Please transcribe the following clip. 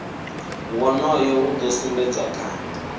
wonoyo u do sumbedzwa kha